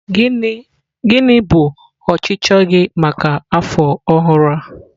Gịnị bụ ọchịchọ gị maka afọ ọhụrụ a?